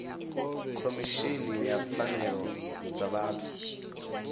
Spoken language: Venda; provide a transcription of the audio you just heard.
khomishini ya pfanelo dza vhathu